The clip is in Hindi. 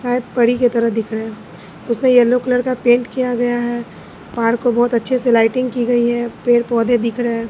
शायद की तरह दिख रहे हैं उसमें येलो कलर का पेंट किया गया है। पहाड़ को बहोत अच्छे से लाइटिंग की गई है। पेड़ पौधे दिख रहे हैं।